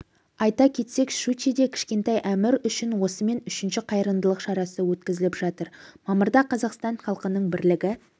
айта кетсек щучьеде кішкентай әмір үшін осымен үшінші қайырымдылық шарасы өткізіліп жатыр мамырда қазақстан халқының бірлігі